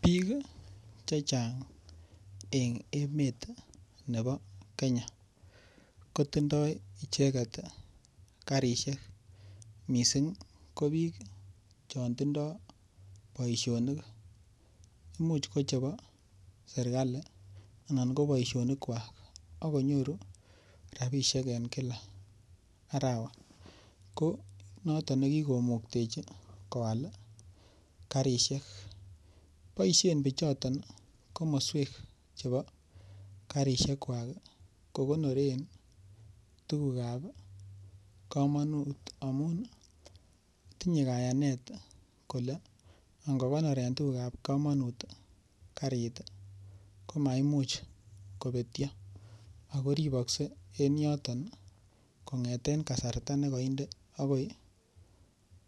Biik ii chechang' en emet nebo Kenya kotindoi icheket karisiek missing' ko biik chontindo boisionik. Imuch ko chebo sirkali anan ko boisionikwak ak konyoru rabisiek en kila arawa ko noton nekikomuktechi koal karisiek. Boisien pichoton komoswek chebo karisiekwak kokonoren tugukab komonut amun tinye kayanet kole ingokonoren tugukab komonut karit komaimuch kobetio ago ripokse en yoton kong'eten kasarta nekonde agoi